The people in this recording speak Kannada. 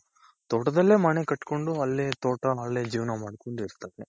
ತೋಟದಲ್ಲೇ ಮನೆ ಕಟ್ಕೊಂಡು ಅಲ್ಲೇ ತೋಟ ಅಲ್ಲೇ ಜೀವನ ಮಾಡ್ಕೊಂಡಿರ್ತಾರೆ.